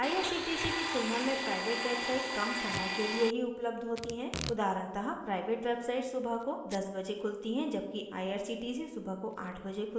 irctc की तुलना में प्राइवेट websites कम समय के लिए ही उपलब्ध होती हैं उदाहरणतः प्राइवेट websites सुबह को 10 बजे खुलती है जबकि irctc सुबह को 8 बजे खुलती है